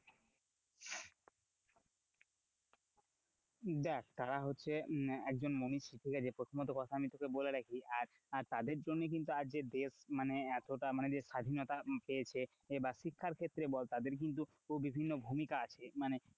দেখ তারা হচ্ছে একজন ঠিক আছে প্রথমত কথা আমি তোকে বলে রাখি, আর তাদের জন্য কিন্তু আজ দেশ মানে এতটা মানে যে স্বাধীনতা পেয়েছে বা শিক্ষার ক্ষেত্রে বল, তাদের কিন্তু বিভিন্ন ভূমিকা আছে মানে,